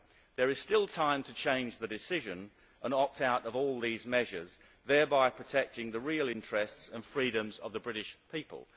There is still time to change the decision and opt out of all these measures, thereby protecting the real interests and freedoms of the British people.